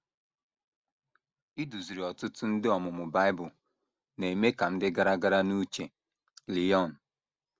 “ Iduziri ọtụtụ ndị ọmụmụ Bible na - eme ka m dị gara gara n’uche. ” Léone